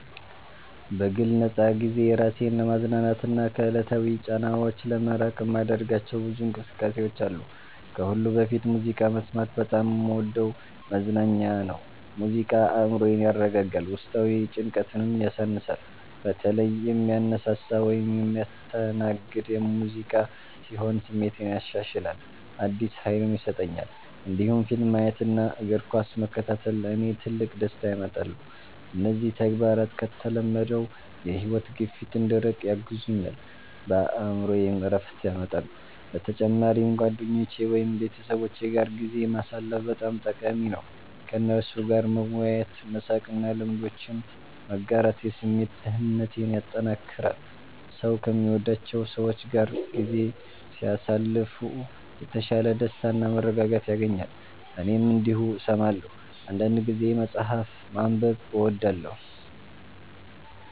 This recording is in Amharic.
በግል ነፃ ጊዜዬ ራሴን ለማዝናናትና ከዕለታዊ ጫናዎች ለመራቅ የማደርጋቸው ብዙ እንቅስቃሴዎች አሉ። ከሁሉ በፊት ሙዚቃ መስማት በጣም የምወደው መዝናኛ ነው። ሙዚቃ አእምሮዬን ያረጋጋል፣ ውስጣዊ ጭንቀትንም ያሳንሳል። በተለይ የሚያነሳሳ ወይም የሚያስተናግድ ሙዚቃ ሲሆን ስሜቴን ያሻሽላል፣ አዲስ ኃይልም ይሰጠኛል። እንዲሁም ፊልም ማየት እና እግር ኳስ መከታተል ለእኔ ትልቅ ደስታ ያመጣሉ። እነዚህ ተግባራት ከተለመደው የሕይወት ግፊት እንድርቅ ያግዙኛል፣ በአእምሮዬም ዕረፍት ያመጣሉ። በተጨማሪም ጓደኞቼ ወይም ቤተሰቦቼ ጋር ጊዜ ማሳለፍ በጣም ጠቃሚ ነው። ከእነርሱ ጋር መወያየት፣ መሳቅ እና ልምዶችን መጋራት የስሜት ደህንነቴን ያጠናክራል። ሰው ከሚወዳቸው ሰዎች ጋር ጊዜ ሲያሳልፍ የተሻለ ደስታና መረጋጋት ያገኛል። እኔም እንዲሁ እሰማለሁ። አንዳንድ ጊዜ መጽሐፍ ማንበብ እወዳለሁ